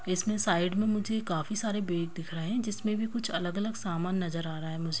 इसमें साइड में मुझे काफी सारे बैग दिख रहें हैं जिसमें भी कुछ अलग-अलग सामान नज़र आ रहा है मुझे --